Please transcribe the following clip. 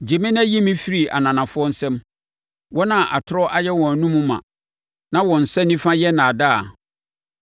Gye me na yi me firi ananafoɔ nsam, wɔn a atorɔ ayɛ wɔn anomu ma na wɔn nsa nifa yɛ nnaadaa.